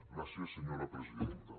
gràcies senyora presidenta